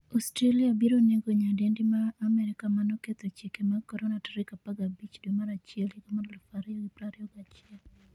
Australia biro nego nyadendi ma Amerka manoketho chike mag Corona' 15 dwe mar achiel 2021